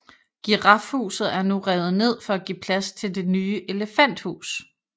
Girafhuset er nu revet ned for at give plads til Det nye elefanthus